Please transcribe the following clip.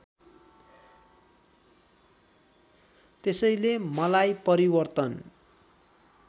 त्यसैले मलाई परिवर्तन